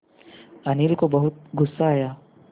अनिल को बहुत गु़स्सा आया